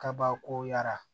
Kabako yara